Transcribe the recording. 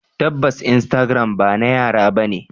Tabbas instagram bana yara bane.